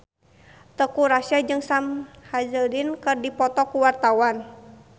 Teuku Rassya jeung Sam Hazeldine keur dipoto ku wartawan